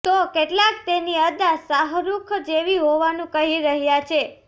તો કેટલાક તેની અદા શાહરુખ જેવી હોવાનું કહી રહ્યા છે